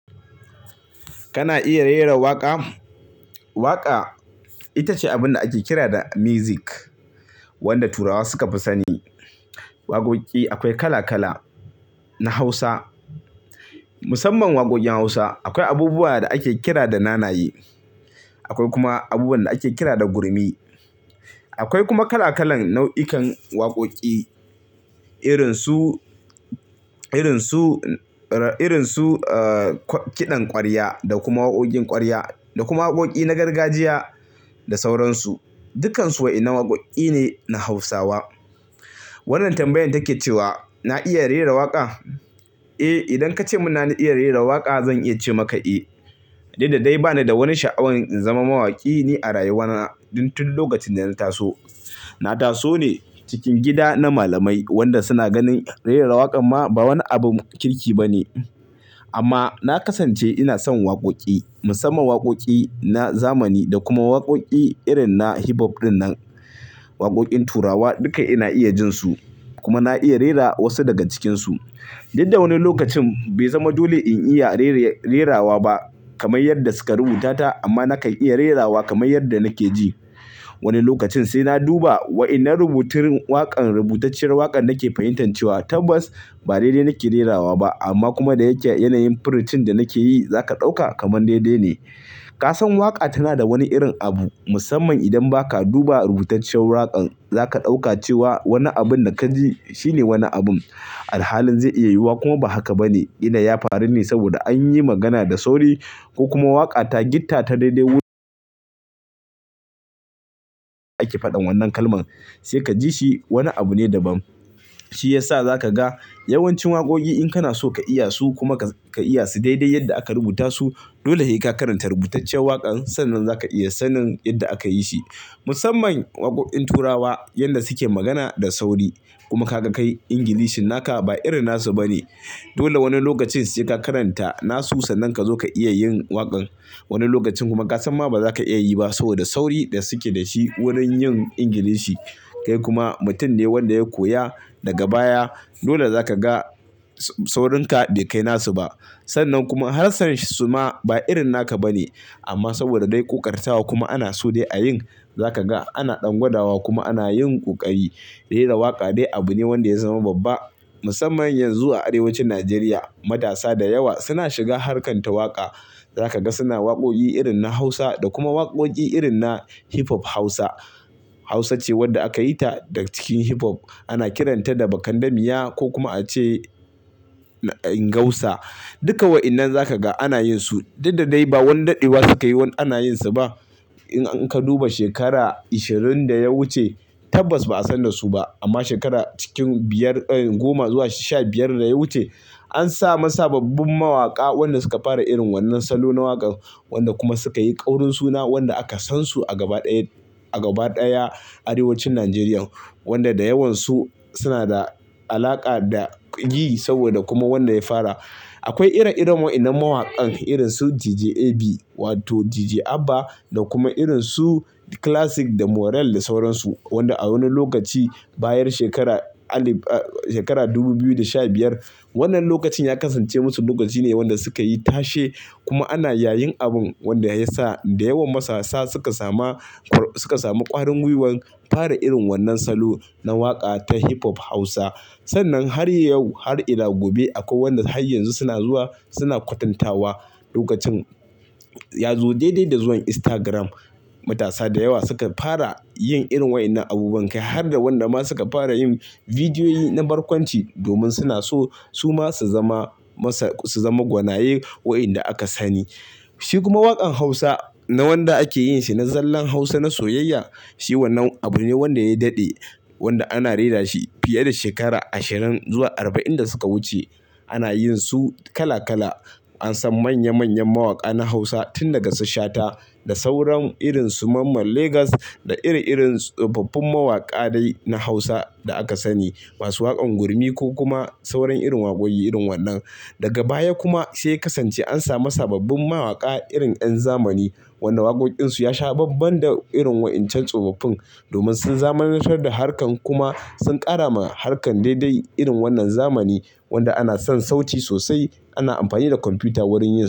Kana iya rera waƙa? Waƙa ita ce abun da ake kira da music wanda turawa suka fi sani. Waƙoƙi akwai kala-kala na hausa, musamman waƙoƙin hausa akwai abubuwa da ake kira da nanaye, akwai kuma abubuwan da ake kira da gurmi. Akwai kuma kala-kalan nau'ikan waƙoƙi irin su, irin su, irin su kiɗan kwarya da kuma waƙoƙin kwarya da kuma waƙoƙi na gargajiya da sauran su. Dukkan su waƴannan waƙoƙi ne na hausawa, wannan tambayan take cewa na iya rera waƙa? Eh idan ka cemun na iya rera waƙa zan iya ce maka eh, duk da dai bani da wani sha'awan in zama mawaƙi ni a rayuwa na. Dan tun duk lokacin da na taso, na taso ne cikin gida na malamai wanda suna ganin rera waƙab ma ba wani abun kirki ba ne. Amma na kasance ina son waƙoƙi musamman waƙoƙi na zamani da kuma waƙoƙi irin na hip hop din nan. Waƙoƙin turawa duka ina iya jin su kuma na iya rera wasu daga cikin su. Duk da wani lokacin bai zama dole in iya rere-rerawa ba kamar yadda suka rubuta ta amma nakan iya rerawa kamar yadda nake ji. Wani lokacin sai na duba waƴannan rubutun waƙar, rubutacciyar waƙar nake fahimtan cewa tabbas ba daidai nake rerawa ba amma kuma da yake yanayin firicin da nake yi za ka ɗauka kaman daidai ne. Ka san waƙa tana da wani irin abu musamman idan ba ka duba rubutacciyar waƙar za ka ɗauka cewa wani abun da ka ji shine wani abun. Alhalin zai iya yiwuwa kuma ba haka ba ne. Ƙila ya faru ne saboda an yi magana da sauri ko kuma waƙa ta gotta ta daidai wurin. Ake faɗan wannan kalman sai ka ji shi wani abu ne daban. Shi ya sa za ka ga yawancin waƙoƙi in kana so ka iya su kuma ka iya su daidai yadda aka rubuta su. Dole he ka karanta rubutacciyar waƙan sannan za ka iya sanin idda aka yi shi. Musamman waƙoƙin turawa yanda suke magana da sauri kuma ka ga kai Ingilishi naka ba irin nasu ba ne. Dole wani lokacin sai ka karanta nasu sannan ka zo ka iya yin waƙan. Wani lokacin kuma ka san ma ba za ka iya yi ba saboda sauri da suke da shi wurin yin Ingilishi. Kai kuma mutum ne wanda ya koya daga baya dole za ka ga saurinka bai kai nasu ba. Sannan kuma harshen su ma ba irin naka bane, amma saboda dai ƙoƙartawa kuma an so a yin, za ka ga ana ɗan gwadawa kuma ana yin ƙoƙari. Rera waƙa dai abu ne wanda ya zama babba musamman yanzu a arewacin Nigeria. Matasa da yawa suna shiga harkar ta waƙa. Za ka ga suna waƙoƙi irin na Hausa da kuma waƙoƙi irin na hip hop Hausa. Hausa ce wadda aka yi ta daga cikin hip hop. Ana kiranta da Bakandamiya ko kuma a ce Ingausa. Duka waƴannan za ka ga ana yin su. Duk da dai ba wani daɗewa sukayi wani ana yin su ba. In an, in ka duba shekara ishirin da ya wuce tabbas ba'a san da su ba amma shekara cikin biyar, goma zuwa sha biyar da ya wuce. An samu sababbin mawaƙa wanda suka fara irin wannan salo na waƙan wanda kuma suka yi ƙaurin suna wanda aka san su a gaba daya arewacin Nigerian. Wanda da yawansu suna da alaƙa da G saboda kuma wanda ya fara. Akwai ire-iren waƴannan mawakan irin su DJAB wato DJ Abba da kuma irin su Classic da Morell da sauransu. Wanda a wani lokaci bayan shekara alif, shekara dubu biyu da sha biyar wannan lokacin ya kasance musu lokaci ne wanda suka yi tashe kuma ana yayin abun wanda ya sa da yawan masassa suka samu, suka samu ƙwarin gwiwan fara irin wannan salo na waƙa ta hip hop Hausa. Sannan har yau, har ila gobe akwai wanda har yanzu suna zuwa suna kwatantawa. Lokacin. Ya zo daidai da zuwan Instagram matasa da yawa suka fara yin irin waƴannan abubuwan kai har da waɗanda ma suka fara yin bidiyoyi na barkwanci domin suna so su ma su zama masa, su zama gwanaye waƴanda aka sani. Shi kuma waƙan Hausa na wanda ake yin shi na zallan Hausa na soyayya shi wannan abu ne wanda ya daɗe wanda ana rera shi fiye da shekara ashirin zuwa arba'in da suka wuce. Ana yin su kala-kala an san manyan-manyan mawaƙa na hausa tun daga su shata da sauran irin su mamma Lagos da iri-irin su tsofaffin mawaƙa dai na hausa da aka sani. Ba su waƙan gurmi ko kuma sauran irin waƙoƙi irin wannan. Daga baya kuma sai ya kasance an samu sababbin mawaƙa irin ƴan zamani wanda waƙoƙinsu ya sha ban-ban da irin waƴancan tsofaffin domin sun zamanantar da harkar kuma sun ƙara ma harkar daidai irin wannan zamani wanda ana son sauti sosai. Ana amfani da kwamfuta wurin yin su.